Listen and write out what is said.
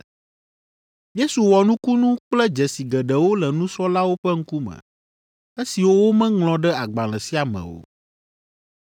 Yesu wɔ nukunu kple dzesi geɖewo le nusrɔ̃lawo ƒe ŋkume, esiwo womeŋlɔ ɖe agbalẽ sia me o.